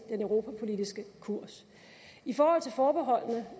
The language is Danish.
den europapolitiske kurs i forhold til forbeholdene